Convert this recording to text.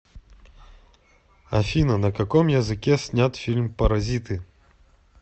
афина на каком языке снят фильм паразиты